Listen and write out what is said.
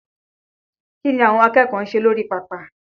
Kí ni àwọn akẹ́kọ̀ọ́ ń ṣe lórí pápá?